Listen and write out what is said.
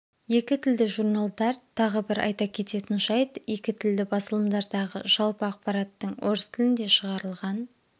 екі тілді журналдар тағы бір айта кететін жайт екі тілді басылымдардағы жалпы ақпараттың орыс тілінде шығарылған